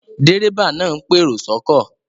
Dérébà náà ń pèrò sọ́kọ̀